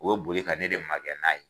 O be boli ka ne de magɛn n'a ye